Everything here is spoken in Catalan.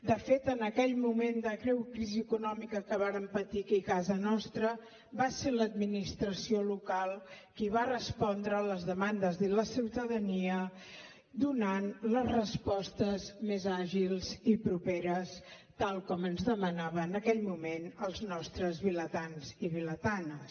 de fet en aquell moment de greu crisi econòmica que vàrem patir aquí a casa nostra va ser l’administració local qui va respondre a les demandes de la ciutadania donant les respostes més àgils i properes tal com ens demanaven en aquell moment els nostre vilatans i vilatanes